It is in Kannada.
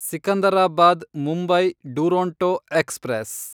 ಸಿಕಂದರಾಬಾದ್ ಮುಂಬೈ ಡುರೊಂಟೊ ಎಕ್ಸ್‌ಪ್ರೆಸ್